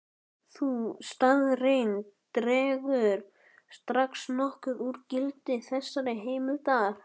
Sú staðreynd dregur strax nokkuð úr gildi þessarar heimildar.